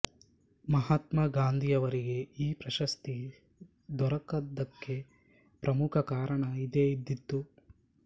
ಮಹಾತ್ಮ ಗಾಂಧಿಯವರಿಗೆ ಈ ಪ್ರಶಸ್ತಿ ದೊರಕದ್ದಕ್ಕೆ ಪ್ರಮುಖ ಕಾರಣ ಇದೇ ಇದ್ದೀತು